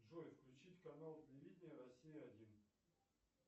джой включить канал телевидения россия один